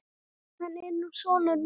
Hann er nú sonur minn.